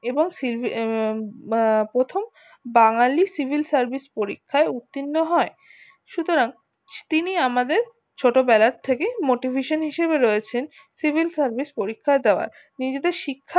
এবং আহ প্রথম বাঙালি civil service পরীক্ষায় উতীর্ণ হয় সুতরাং তিনি আমাদের ছোট বেলার থেকে motivation হিসাবেই রয়েছেন civil service পরীক্ষা দেওয়ায় নিজেদের শিক্ষা